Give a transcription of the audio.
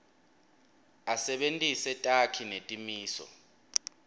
asebentise takhi netimiso